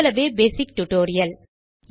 இவ்வளவே basic tutorial